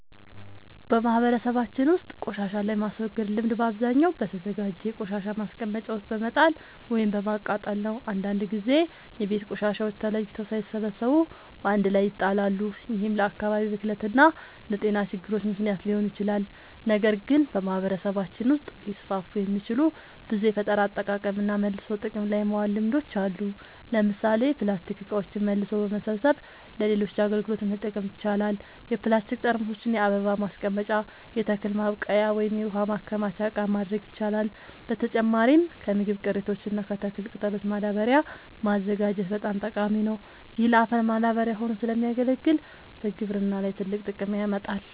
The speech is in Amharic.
በማህበረሰባችን ውስጥ ቆሻሻን የማስወገድ ልምድ በአብዛኛው በተዘጋጀ የቆሻሻ ማስቀመጫ ውስጥ በመጣል ወይም በማቃጠል ነው። አንዳንድ ጊዜ የቤት ቆሻሻዎች ተለይተው ሳይሰበሰቡ በአንድ ላይ ይጣላሉ፤ ይህም ለአካባቢ ብክለት እና ለጤና ችግሮች ምክንያት ሊሆን ይችላል። ነገር ግን በማህበረሰባችን ውስጥ ሊስፋፉ የሚችሉ ብዙ የፈጠራ አጠቃቀምና መልሶ ጥቅም ላይ ማዋል ልምዶች አሉ። ለምሳሌ ፕላስቲክ እቃዎችን መልሶ በመሰብሰብ ለሌሎች አገልግሎቶች መጠቀም ይቻላል። የፕላስቲክ ጠርሙሶችን የአበባ ማስቀመጫ፣ የተክል ማብቀያ ወይም የውሃ ማከማቻ እቃ ማድረግ ይቻላል። በተጨማሪም ከምግብ ቅሪቶች እና ከተክል ቅጠሎች ማዳበሪያ ማዘጋጀት በጣም ጠቃሚ ነው። ይህ ለአፈር ማዳበሪያ ሆኖ ስለሚያገለግል በግብርና ላይ ትልቅ ጥቅም ያመጣል።